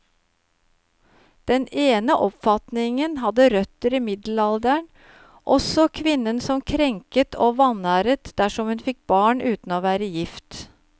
Den ene oppfatningen hadde røtter i middelalderen, og så kvinnen som krenket og vanæret dersom hun fikk barn uten å være gift.